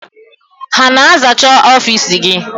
Ha na-azacha ọfiisi gị?